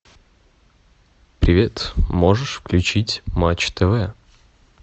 привет можешь включить матч тв